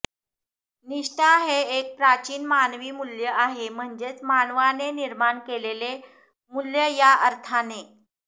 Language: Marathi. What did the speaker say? निष्ठा हे एक प्राचीन मानवी मुल्य आहे म्हणजे मानवाने निर्माण केलेले मुल्य या अर्थाने